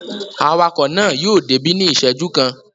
Awakọ̀ náà yóò débí ní ìṣẹ́jú kan.